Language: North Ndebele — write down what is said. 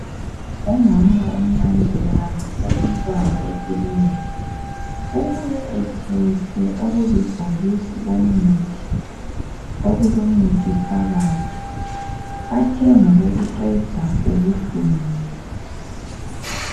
Umama umncane ubehambise umntwana ekilinika. Ubuye ephethe okulibhokisi komuthi okulmuthi phakathi. Bathenge ukuqeda ubuhlungu.